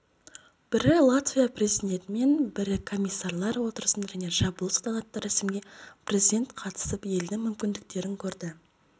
бірі латвия президентімен бірі комиссарлар отырысында және жабылуында салтанатты рәсімге президент қатысып елдің мүмкіндіктерін көрді